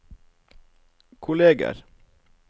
kolleger